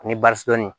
Ani dɔɔnin